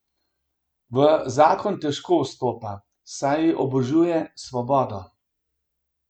V zakon težko vstopa, saj obožuje svobodo.